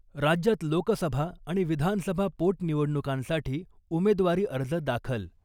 राज्यात लोकसभा आणि विधानसभा पोटनिवडणुकांसाठी उमेदवारी अर्ज दाखल .